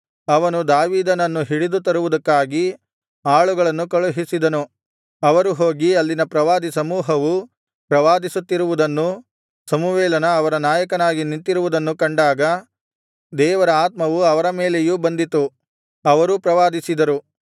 ಅವನು ದಾವೀದನನ್ನು ಹಿಡಿದು ತರುವುದಕ್ಕಾಗಿ ಆಳುಗಳನ್ನು ಕಳುಹಿಸಿದನು ಅವರು ಹೋಗಿ ಅಲ್ಲಿನ ಪ್ರವಾದಿ ಸಮೂಹವು ಪ್ರವಾದಿಸುತ್ತಿರುವುದನ್ನೂ ಸಮುವೇಲನು ಅವರ ನಾಯಕನಾಗಿ ನಿಂತಿರುವುದನ್ನು ಕಂಡಾಗ ದೇವರ ಆತ್ಮವು ಅವರ ಮೇಲೆಯೂ ಬಂದಿತು ಅವರೂ ಪ್ರವಾದಿಸಿದರು